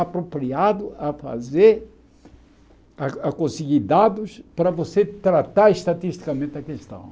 apropriado a fazer, a a conseguir dados para você tratar estatisticamente a questão.